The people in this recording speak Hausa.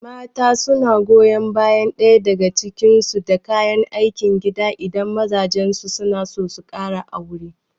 Mata suna goyon bayan ɗaya daga cikin su da kayan aikin gida idan mazajen su suna so su kara aure